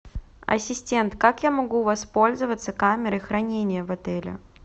ассистент как я могу воспользоваться камерой хранения в отеле